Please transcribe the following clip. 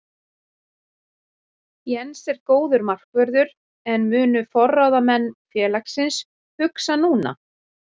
Jens er góður markvörður en munu forráðamenn félagsins hugsa núna?